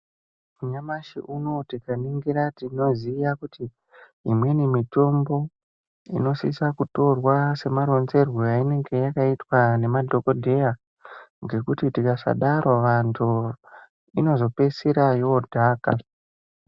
Nyamashi unowu tinganingira tingaziya kuti imweni mitombo inosisa kutorwa semaronzerwo ainenge yakaitwa nemadhokodheya ngekuti tikasadaro vantu inozopeisira yodhaka.